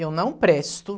Eu não presto.